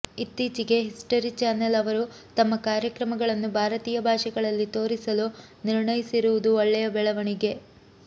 ಇತ್ತೀಚೆಗೆ history channel ಅವರು ತಮ್ಮ ಕಾರ್ಯಕ್ರಮಗಳನ್ನು ಭಾರತೀಯ ಭಾಷೆಗಳಲ್ಲಿ ತೋರಿಸಲು ನಿರ್ಣಯಿಸಿರುವುದು ಒಳ್ಳೆಯ ಬೆಳವಣಿಗೆ